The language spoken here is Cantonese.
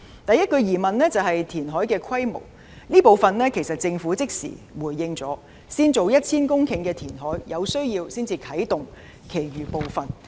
第一個疑問是填海的規模，這部分政府已經即時回應，先展開 1,000 公頃的填海工程，若有需要才啟動其餘部分。